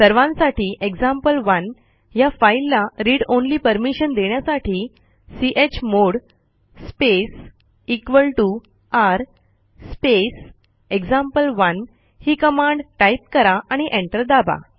सर्वांसाठी एक्झाम्पल1 ह्या फाईलला read ऑनली परमिशन देण्यासाठी चमोड स्पेस r स्पेस एक्झाम्पल1 ही कमांड टाईप करा आणि एंटर दाबा